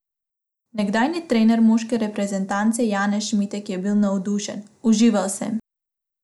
Nekdanji trener moške reprezentance Janez Šmitek je bil navdušen: "Užival sem.